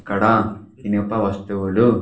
ఇక్కడ ఇనుప వస్తువులు.